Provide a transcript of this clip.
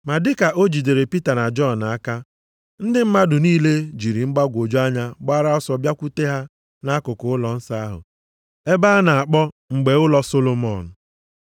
Ma dị ka o jidere Pita na Jọn aka, ndị mmadụ niile jiri mgbagwoju anya gbara ọsọ bịakwute ha nʼakụkụ ụlọnsọ ahụ ebe a na-akpọ mgbe ụlọ Solomọn.